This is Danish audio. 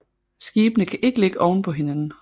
Skibene kan ikke ligge oven på hinanden